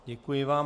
Děkuji vám.